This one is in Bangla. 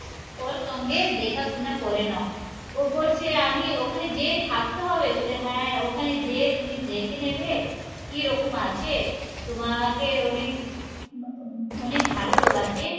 ওর সঙ্গে দেখাশোনা করে নাও ও বলছে আমি ওখানে যেযে থাকতে হবে বললো হ্যাঁ ওখানে যেযে তুমি দেখে নেবে কি রকম আছে, তোমাকে অনেক অনেক ভালো লোক আছে